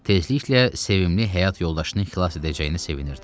Tezliklə sevimli həyat yoldaşını xilas edəcəyinə sevinirdi.